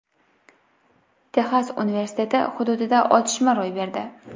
Texas universiteti hududida otishma ro‘y berdi.